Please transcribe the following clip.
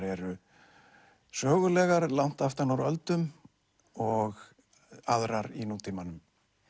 eru sögulegar langt aftan úr öldum og aðrar í nútímanum